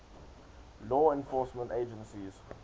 law enforcement agencies